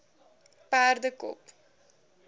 perdekop